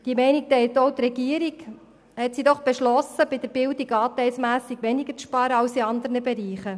Diese Meinung teilt auch die Regierung, indem sie beschlossen hat, bei der Bildung anteilmässig weniger zu sparen als in anderen Bereichen.